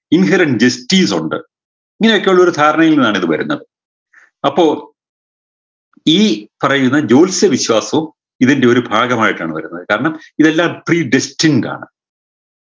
inhurrent justice ഉണ്ട് ഇങ്ങനെയൊക്കെ ഉള്ളയൊരു ധാരണയിൽ നിന്നാണ് ഇത് വരുന്നത് അപ്പൊ ഈ പറയുന്ന ജ്യോൽസ്യ വിശ്വാസവും ഇതിൻറെയൊരു ഭാഗമായിട്ടാണ് വരുന്നത് ഇതെല്ലാം predesting ആണ്